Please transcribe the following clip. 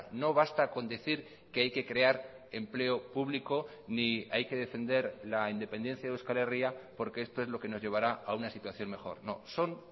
no basta con decir que hay que crear empleo público ni hay que defender la independencia de euskal herria porque esto es lo que nos llevará a una situación mejor no son